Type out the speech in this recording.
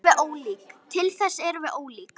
Til þess erum við of ólík.